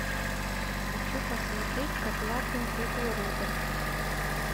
хочу посмотреть проклятые куклы роберт